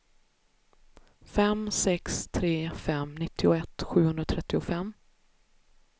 fem sex tre fem nittioett sjuhundratrettiofem